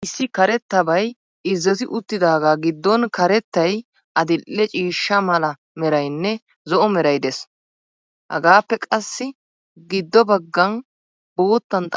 Issi karettabay irzoti uttidaagaa giddon karettay, adil'e ciishsha mala meraynne, zo'o meray des. hagappe qassi giddo baggan boottan xaafettidaagee woyigii?